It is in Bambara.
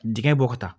Dingɛ bɔ ka taa